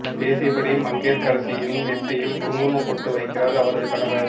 பேசியபடி மங்கையர்க்கரசியின் நெற்றியில் குங்குமப் பொட்டு வைக்கிறார் அவரது கணவர்